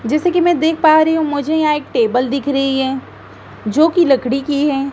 जैसे कि मैं देख पा रही हूं मुझे यहां एक टेबल दिख रही है जोकि लकड़ी की है।